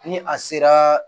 Ni a sera